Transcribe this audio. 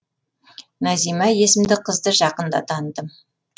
назима есімді қызды жақында таныдым